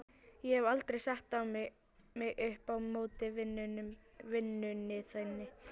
Ég hef aldrei sett mig upp á móti vinnunni þinni.